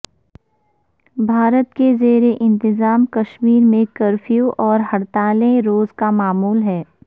بھارت کے زیر انتظام کشمیر میں کرفیو اور ہڑتالیں روز کا معمول ہیں